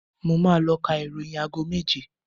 Mo máa ló ka ìròyìn aago méje